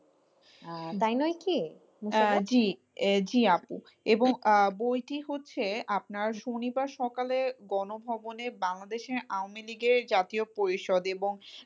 জি আপু, এবং আহ বইটি হচ্ছে আপনার শনিবার সকালে গণভবনে বাংলাদেশের আওয়ামী লীগের জাতীয় পরিষদ, এবং